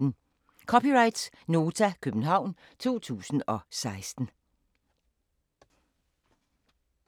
(c) Nota, København 2016